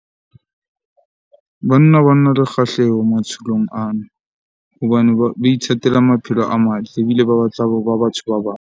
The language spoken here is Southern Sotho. Banna ba na le kgahleho matsholong ana hobane ba ba ithatela maphelo a matle ebile ba batla ho ba batho ba bang.